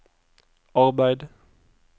arbeid